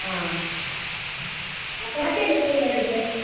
ಹಾ ಮತ್ತೇ ಏನ್ phone ಮಾಡಿದ್ದು.